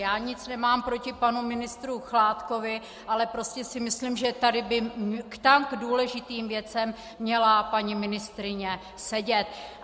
Já nic nemám proti panu ministru Chládkovi, ale prostě si myslím, že tady by k tak důležitým věcem měla paní ministryně sedět.